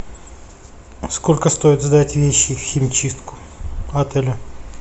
сколько стоит сдать вещи в химчистку отеля